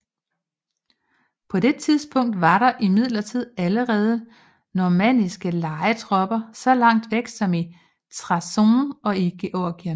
På det tidspunkt var der imidlertid allerede normanniske lejetropper så langt væk som i Trabzon og i Georgien